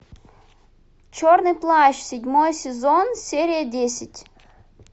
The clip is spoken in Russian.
черный плащ седьмой сезон серия десять